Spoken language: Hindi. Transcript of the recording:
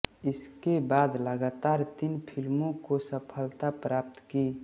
इसके बाद लगातार तीन फिल्मों में सफलता प्राप्त की